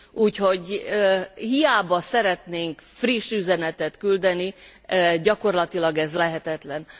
Úgyhogy hiába szeretnénk friss üzenetet küldeni, gyakorlatilag ez lehetetlen.